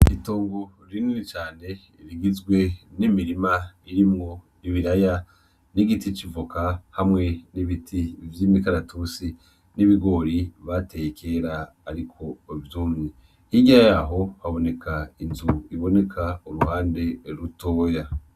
Itongo rinini cane rigizwe n'imirima irimwo ibiraya; n'igiti c'ivoka; hamwe n'ibiti vy'imikaratusi; n'ibigori bateye kera ariko vyumye, hirya yaho haboneka inzu iboneka uruhande rutoya.